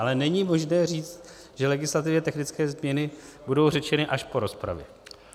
Ale není možné říct, že legislativně technické změny budou řečeny až po rozpravě.